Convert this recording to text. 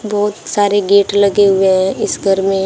बहुत सारे गेट लगे हुए हैं इस घर में--